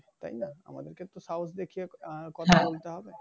তাইনা? আমাদের তো সাহস দেখিয়ে আহ কথা বলতে হবে।